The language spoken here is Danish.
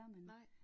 Nej